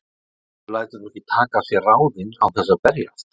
Maður lætur nú ekki taka af sér ráðin án þess að berjast.